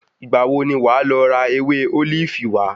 Ìgbà wo ni wàá lọ ra ewé ólífì wá?